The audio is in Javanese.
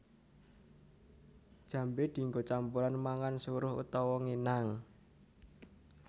Jambé dienggo campuran mangan suruh utawa nginang